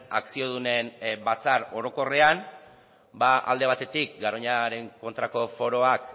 akziodunen batzar orokorrean alde batetik garoñaren aurkako foroak